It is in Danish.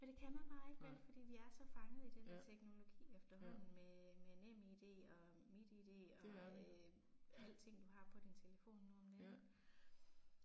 Og det kan man bare ikke vel, fordi vi er så fanget i det der teknologi efterhånden med med NemID og MitID og øh alting du har på din telefon nu om dage ik